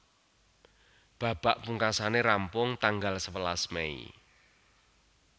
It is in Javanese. Babak pungkasané rampung tanggal sewelas Mei